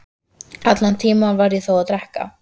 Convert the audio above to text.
Allan tímann var ég þó að drekka.